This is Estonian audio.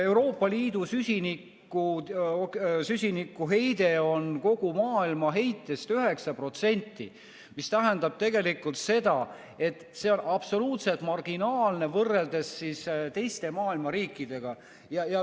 Euroopa Liidu süsinikuheide on kogu maailma heitest 9%, mis tähendab tegelikult seda, et see on absoluutselt marginaalne võrreldes teiste maailma riikidega.